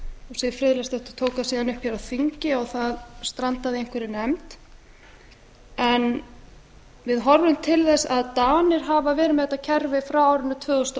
siv friðleifsdóttir tók það síðan upp hér á þingi og það strandaði í einhverri nefnd en við horfum til þess að danir hafa verið með þetta kerfi frá árinu tvö þúsund og